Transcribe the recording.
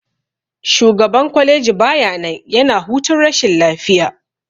Shugaban kwaleji baya nan, yana hutun rashin lafiya.